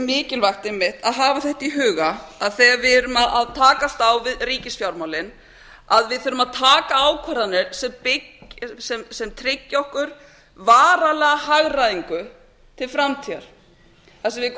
mikilvægt einmitt að hafa þetta í huga að þegar við erum að takast á við ríkisfjármálin þurfum við að taka ákvarðanir sem tryggja okkur varanlega hagræðingu til framtíðar þar sem